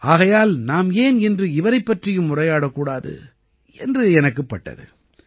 ஆகையால் நாம் ஏன் இன்று இவரைப் பற்றியும் உரையாடக் கூடாது என்று எனக்குப் பட்டது